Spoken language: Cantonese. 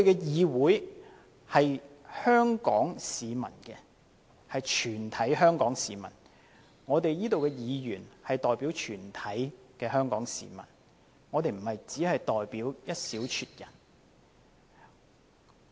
議會是屬於全體香港市民的，這裏的議員代表全體香港市民，不止代表一小撮人。